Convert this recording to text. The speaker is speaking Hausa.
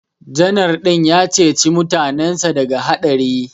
Janar din ya ceci mutanensa daga haɗari